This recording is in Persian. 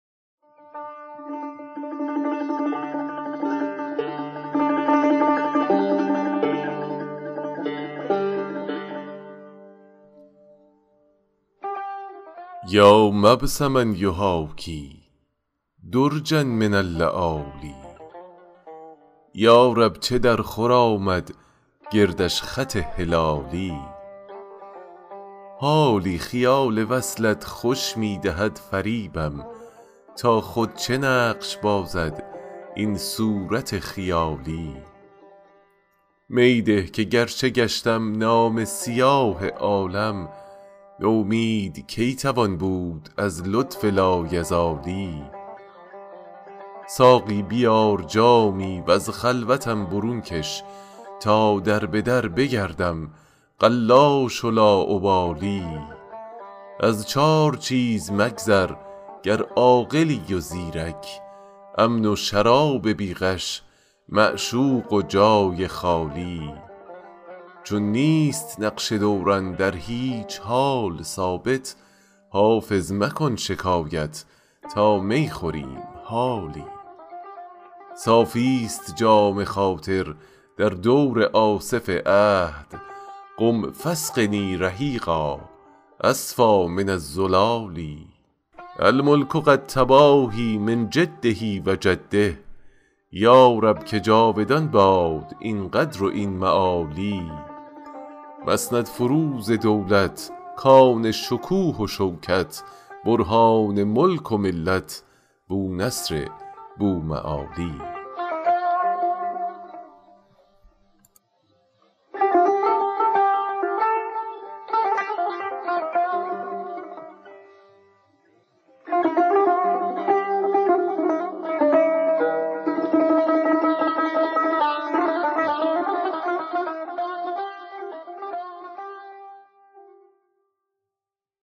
یا مبسما یحاکی درجا من اللآلی یا رب چه درخور آمد گردش خط هلالی حالی خیال وصلت خوش می دهد فریبم تا خود چه نقش بازد این صورت خیالی می ده که گرچه گشتم نامه سیاه عالم نومید کی توان بود از لطف لایزالی ساقی بیار جامی و از خلوتم برون کش تا در به در بگردم قلاش و لاابالی از چار چیز مگذر گر عاقلی و زیرک امن و شراب بی غش معشوق و جای خالی چون نیست نقش دوران در هیچ حال ثابت حافظ مکن شکایت تا می خوریم حالی صافیست جام خاطر در دور آصف عهد قم فاسقني رحیقا أصفیٰ من الزلال الملک قد تباهیٰ من جده و جده یا رب که جاودان باد این قدر و این معالی مسندفروز دولت کان شکوه و شوکت برهان ملک و ملت بونصر بوالمعالی